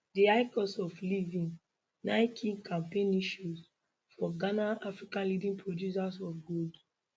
di high cost of living na key campaign issue for ghana africa leading producer of gold